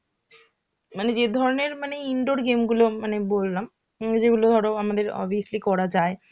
মানে যে ধরনের মানে indoor game গুলো মানে বললাম, যেগুলো ধরো আমাদের obviously করা যায়.